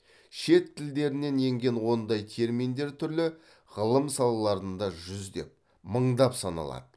шет тілдерінен енген ондай терминдер түрлі ғылым салаларында жүздеп мыңдап саналады